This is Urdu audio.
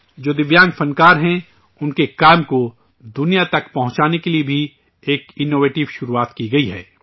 جو دویانگ فنکار ہیں، ان کے کام کو، دنیا تک پہنچانے کے لیے بھی ایک انوویٹو شروعات کی گئی ہے